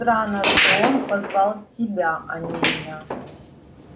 странно что он позвал тебя а не меня